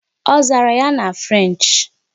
Ọ zara ya na French'?